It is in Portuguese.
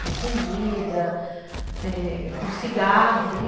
Com comida, é, com cigarro.